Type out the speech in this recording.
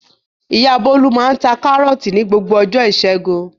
Ìyá Bólú máa ń ta Kárọ́tì ní gbogbo ọjọ́ ìṣẹ́gun.